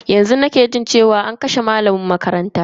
Yanzu nake jin cewa an kashe malamin makaranta dake unguwanmu.